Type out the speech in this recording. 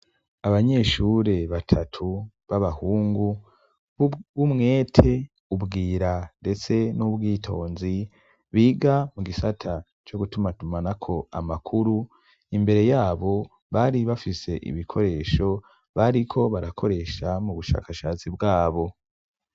Abanyeshure batatu b'abahungu b'umwete, ubwira ndetse n'ubwitonzi biga mu gisata co gutumatumana ko amakuru imbere yabo bari bafise ibikoresho bariko barakoresha mu bushakashatsi bwabo.